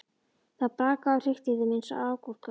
Það brakaði og hrikti í þeim eins og agúrkum.